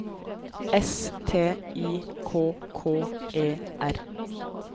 S T I K K E R